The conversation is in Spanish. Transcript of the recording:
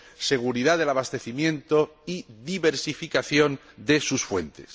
seguridad del abastecimiento y diversificación de sus fuentes.